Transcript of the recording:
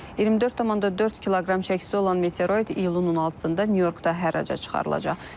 24,4 kq çəkisi olan meteoroid iyulun 16-da Nyu-Yorkda hərraca çıxarılacaq.